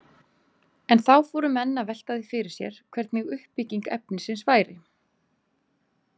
En þá fóru menn að velta því fyrir sér hvernig uppbygging efnisins væri.